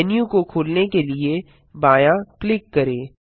menu को खोलने के लिए बायाँ क्लिक करें